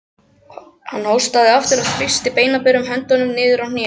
Hann hóstaði aftur og þrýsti beinaberum höndunum niður á hnén.